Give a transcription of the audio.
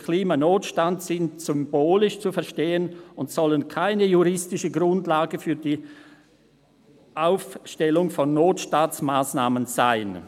‹Klimanotstand› sind symbolisch zu verstehen und sollen keine juristische Grundlage für die Ableitung von Notstandsmassnahmen sein.»